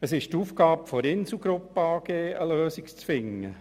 Es ist die Aufgabe der Insel Gruppe AG, eine Lösung zu finden.